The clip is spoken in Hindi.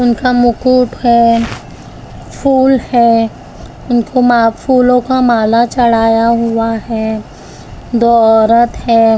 उनका मुकुट हैं फूल हैं उनको मा फूलों का माला चढ़ाया हुआ हैं दो औरत हैं ।